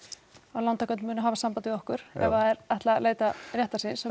lántakendur muni hafa samband við okkur ef að þeir ætla að leita réttar síns og